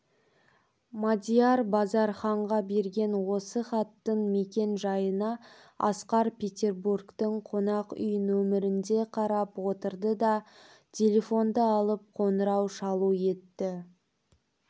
мадияр базарханға берген осы хаттың мекен жайына асқар петербургтің қонақ үй нөмерінде қарап отырды да телефонды алып қоңырау шалу етті